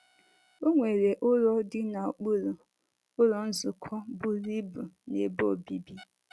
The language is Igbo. O nwere ụlọ dị n’okpuru, Ụlọ Nzukọ buru ibu na ebe obibi.